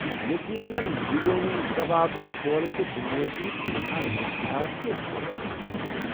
تہٕ یقینن بِریانی، کباب، چھولہٕ تہٕ بٗنِیٲدی كینژھا مینژھا تہٕ ہیكہٕ كھینہٕ چیز ۔